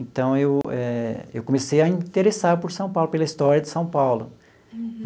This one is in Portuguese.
Então, eu eh eu comecei a interessar por São Paulo, pela história de São Paulo.